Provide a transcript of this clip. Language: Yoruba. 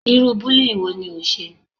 Irú bullying wo ni ó ń ṣe?